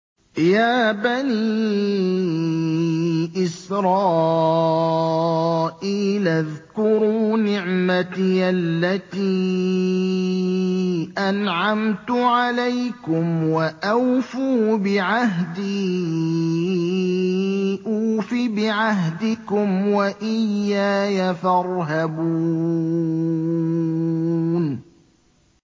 يَا بَنِي إِسْرَائِيلَ اذْكُرُوا نِعْمَتِيَ الَّتِي أَنْعَمْتُ عَلَيْكُمْ وَأَوْفُوا بِعَهْدِي أُوفِ بِعَهْدِكُمْ وَإِيَّايَ فَارْهَبُونِ